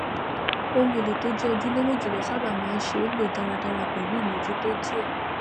ohunèlò to jẹ ojúlówó jùlọ sáábà máa ṣé lò dáradára pẹlú ìmójútó díẹ